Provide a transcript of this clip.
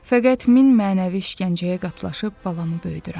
Fəqət min mənəvi işgəncəyə qatlaşıb balamı böyüdürəm.